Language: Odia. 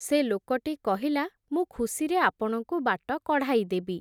ସେ ଲୋକଟି କହିଲା, ମୁଁ ଖୁସିରେ ଆପଣଙ୍କୁ ବାଟ କଢ଼ାଇଦେବି ।